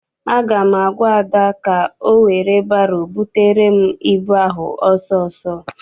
Aga m agwa Ada ka ọ were baro butere m ịbụ ahụ ọsọ ọsọ!